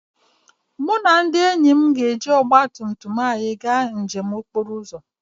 Mụ na ndị enyi m ga-eji ọgba tum tum anyị gaa njem okporo ụzọ